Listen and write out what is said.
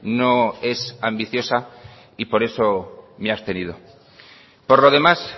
no es ambiciosa y por eso me he abstenido por lo demás